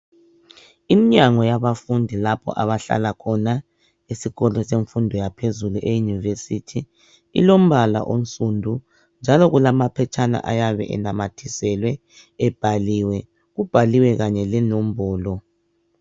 iminyango yabafundi lapho abahlala khona esikolo semfundo yaphezulu e University ilombala onsundu njalo kulamaphetshana ayabe enamathiselwe ebhaliwe kubhaliwe kanye le nombolo